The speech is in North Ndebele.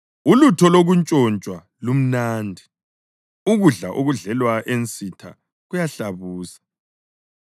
“Ulutho lokuntshontshwa lumnandi; ukudla okudlelwa ensitha kuyahlabusa!”